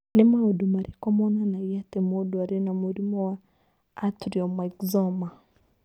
Nĩ maũndũ marĩkũ monanagia atĩ mũndũ arĩ na mũrimũ wa Atrial myxoma?